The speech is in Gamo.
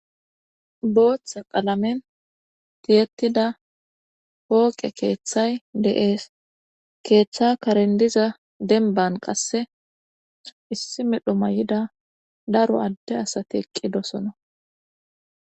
Booththe qalamen tiyettida pooqe keeththay deees keeththa karendiza denban qasse issi medho ma y7ida daro adde asati eqqidosona.